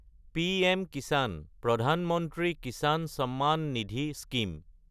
পিএম-কিচান (প্ৰধান মন্ত্ৰী কিচান চাম্মান নিধি) স্কিম